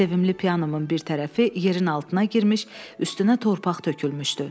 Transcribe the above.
Sevimli pianomun bir tərəfi yerin altına girmiş, üstünə torpaq tökülmüşdü.